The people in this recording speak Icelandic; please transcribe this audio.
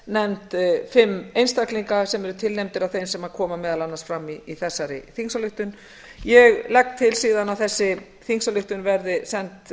nefnd fimm einstaklinga sem eru tilnefndir af þeim sem koma meðal annars fram í þessari þingsályktun ég legg til síðan að þessi þingsályktun verði send